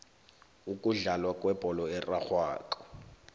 ukudlalwa kwebholo erarhwako